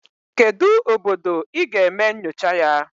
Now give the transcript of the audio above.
Kedu obodo ị ga-eme nyocha na ya?